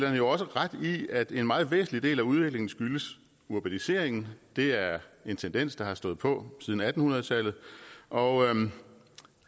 jo også ret i at en meget væsentlig del af udviklingen skyldes urbaniseringen det er en tendens der har stået på siden atten hundrede tallet og